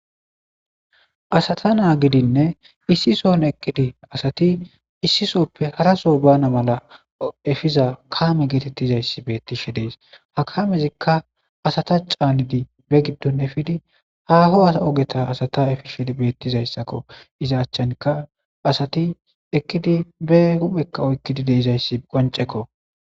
Asata naa gidinne issison ekkidi asati issisoppe haraso bana mala efiza kaame geetettizayssi bettishe dees ha kamezikka asata caanidi be giddon efidi haho a ogeta asata efishedi beettizayssakko iza achchankka asati ekkidi be huphekka oykkidi deizayssi qoancekko.